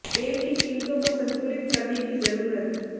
तेल की कीमतों को संतुलित करने की जरूरत